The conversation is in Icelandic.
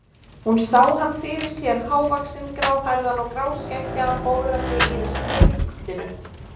Hún sá hann fyrir sér, hávaxinn, gráhærðan og gráskeggjaðan, bograndi yfir skrifpúltinu.